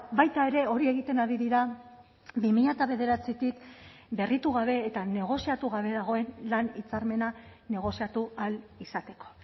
baita ere hori egiten ari dira bi mila bederatzitik berritu gabe eta negoziatu gabe dagoen lan hitzarmena negoziatu ahal izateko